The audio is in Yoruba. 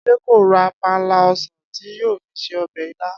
Adé kò ra panla o̩sàn tí yóò fi se o̩bè̩ ilá